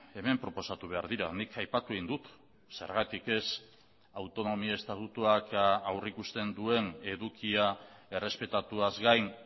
hemen proposatu behar dira nik aipatu egin dut zergatik ez autonomia estatutuak aurrikusten duen edukia errespetatuaz gain